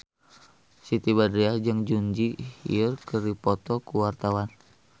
Siti Badriah jeung Jun Ji Hyun keur dipoto ku wartawan